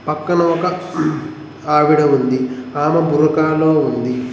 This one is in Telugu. పక్కన ఒక ఆవిడ ఉంది ఆమె బుర్ఖా లో ఉంది.